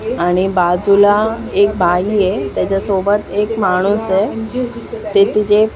आणि बाजूला एक बाई आहे त्याच्यासोबत एक माणूस आहे ते तिचे --